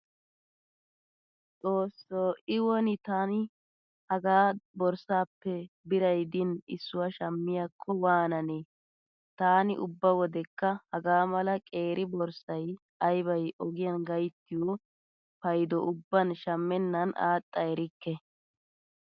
Xoosso i woni taani hagaa borssaappe biray diini issuwaa shammiyaakko waanane. Taani ubba wodekka hagaa mala qeeri borssay aybay ogiyan gayttiyo paydo ubban shammennan aaxxa erikke.